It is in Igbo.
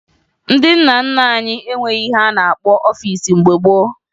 Ndị nna nna anyị enweghi ihe a na-akpọ ọfiisi mgbe gboo